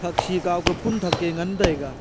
thaksih kawka phunthak ke ngantaiga.